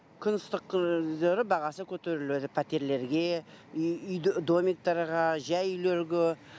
күн ыстық кездері бағасы көтеріледі пәтерлерге үй домиктарға жай үйлерге